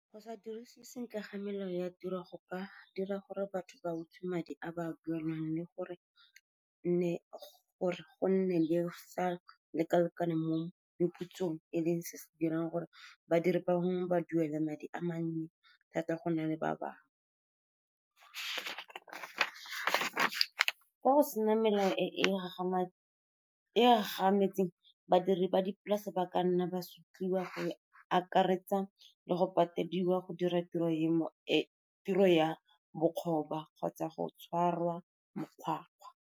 Go sa dirise sentle ga melao ya tiro go ka dira gore batho ba utswa madi a ba duelwang, le gore go nne le sa leka-lekane mo meputsong, e leng se se dirang gore badiri bangwe ba duelwe madi a mannye thata go na le ba bangwe. Fa go sena melao e e gagametseng, badiri ba dipolase ba ka nna ba se rutiwe, go e akaretsa le go patediwa go dira tiro ya bokgoba kgotsa go tshwarwa makgwakgwa.